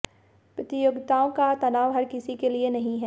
प्रतियोगिताओं का तनाव हर किसी के लिए नहीं है